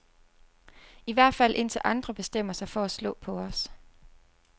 I hvert fald indtil andre bestemmer sig for at slå på os.